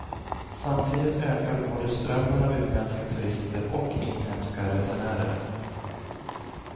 Samtidigt ökar både strömmen av utländska turister och inhemska resenärer.